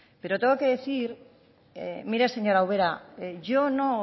pero tengo que decir mire señora ubera yo no